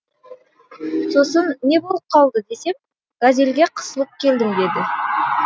сосын не болып қалды десем газельге қысылып келдім деді